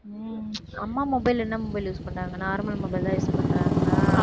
உம் அம்மா mobile என்ன mobile use பண்றாங்க normal mobile தான் use பண்றாங்களா?